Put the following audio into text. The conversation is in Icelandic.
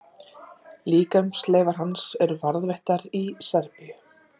Líkamsleifar hans eru varðveittar í Serbíu.